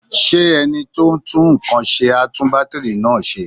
Ṣé ẹni tó ń tún nǹkan ṣe á tún bátìrì náà ṣe?